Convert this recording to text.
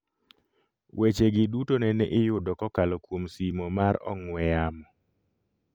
Weche gi duto nene iyudo kokalo kuom simo mar ong'we yamo